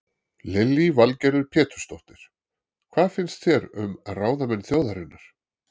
Lillý Valgerður Pétursdóttir: Hvað finnst þér um ráðamenn þjóðarinnar?